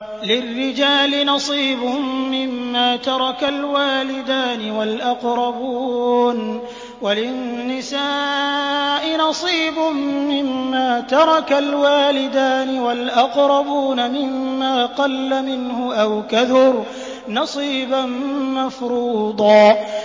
لِّلرِّجَالِ نَصِيبٌ مِّمَّا تَرَكَ الْوَالِدَانِ وَالْأَقْرَبُونَ وَلِلنِّسَاءِ نَصِيبٌ مِّمَّا تَرَكَ الْوَالِدَانِ وَالْأَقْرَبُونَ مِمَّا قَلَّ مِنْهُ أَوْ كَثُرَ ۚ نَصِيبًا مَّفْرُوضًا